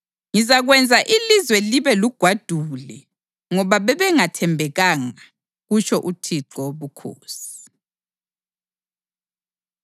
Ngizakwenza ilizwe libe lugwadule ngoba bebengathembekanga, kutsho uThixo Wobukhosi.”